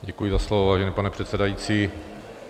Děkuji za slovo, vážený pane předsedající.